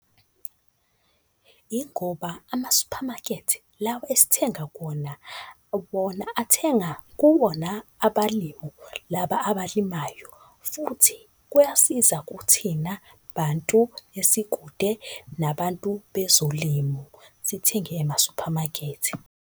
Ingoba amasuphamakethe lawa esithenga kuwona, wona athenga kuwona abalimu laba abalimayo, futhi kuyasiza kuthina bantu esikude nabantu bezolimo sithenge emasuphamakethe.